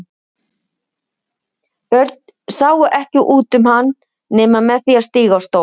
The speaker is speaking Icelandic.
Börn sáu ekki út um hann nema með því að stíga á stól.